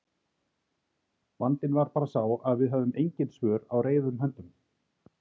Vandinn var bara sá að við höfðum engin svör á reiðum höndum.